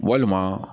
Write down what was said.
Walima